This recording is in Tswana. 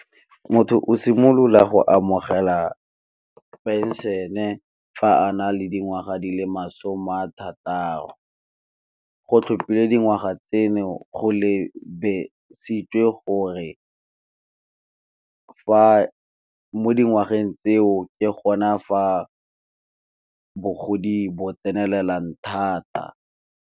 Motho o simolola go amogela phenšene fa a na le dingwaga di le masome a thataro, go tlhopile dingwaga tseno go lebesitswe gore mo dingwageng tseo ke gona fa bogodi bo tsenelelang thata.